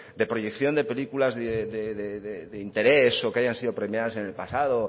de proyección de películas de interés o que hayan sido premiadas en el pasado